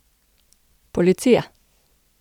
Policija!